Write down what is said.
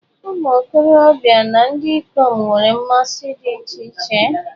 Ụmụ okorobịa na ndị ikom nwere mmasị dị iche iche.